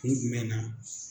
Kun jumɛn na.